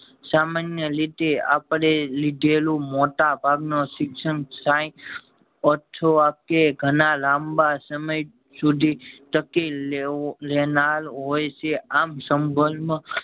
સામાન્ય રીતે અપડે લીધેલું મોટા ભાગ નો શિક્ષણ સાય અથવા કે ઘણા લાંબા સમય સુધી તકી લેવો લેનાર હોય છે આમ સંભળ